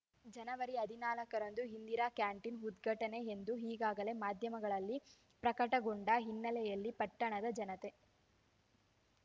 ಜನವರಿ ಹದಿನಾಲ್ಕರಂದು ಇಂದಿರಾ ಕ್ಯಾಂಟೀನ್‌ ಉದ್ಘಾಟನೆ ಎಂದು ಈಗಾಗಲೇ ಮಾಧ್ಯಮಗಳಲ್ಲಿ ಪ್ರಕಟಗೊಂಡ ಹಿನ್ನಲೆಯಲ್ಲಿ ಪಟ್ಟಣದ ಜನತೆ